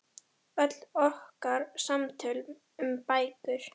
Öll okkar samtöl um bækur.